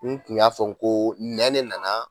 N tun y'a fɔ ko nɛn de nana